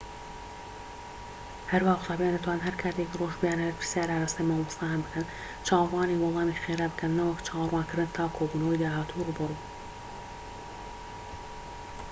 هەروەها قوتابیان دەتوانن هەر کاتێکی ڕۆژ بیانەوێت پرسیار ئاڕاستەی مامۆستایان بکەن چاوەڕوانی وەڵامی خێرا بکەن نەوەک چاوەڕوانکردن تا کۆبوونەوەی داهاتووی ڕووبەڕوو